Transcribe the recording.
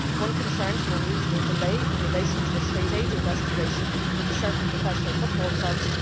One concerned an unreasonable delay in relation to a state aid investigation into certain professional football clubs